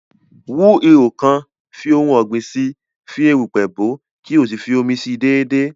Wú ihò kan, fi ohun ọ̀gbìn si, fi erùpẹ̀ bòó, kí o sì fi omi si déédéé